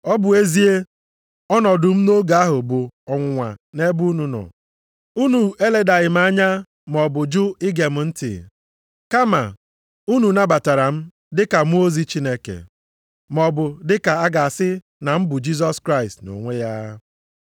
Ọ bụ ezie, ọnọdụ m nʼoge ahụ bụ ọnwụnwa nʼebe unu nọ, unu eledaghị m anya, maọbụ jụ ige m ntị. Kama unu nabatara m, dị ka mmụọ ozi Chineke, maọbụ dị ka a ga-asị na m bụ Jisọs Kraịst nʼonwe ya.